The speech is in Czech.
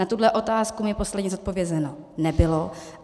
Na tuhle otázku mi posledně zodpovězeno nebylo.